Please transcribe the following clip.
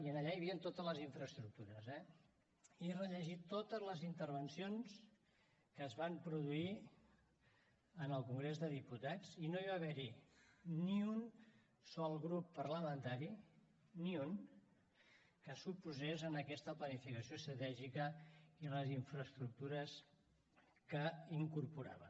i allà hi havien totes les infraestructures eh he rellegit totes les intervencions que es van produir en el congrés dels diputats i no va haver hi ni un sol grup parlamentari ni un que s’oposés a aquesta planificació estratègica i les infraestructures que incorporava